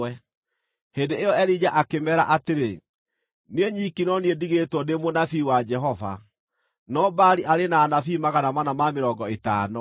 Hĩndĩ ĩyo Elija akĩmeera atĩrĩ, “Niĩ nyiki no niĩ ndigĩtwo ndĩ mũnabii wa Jehova, no Baali arĩ na anabii magana mana ma mĩrongo ĩtano.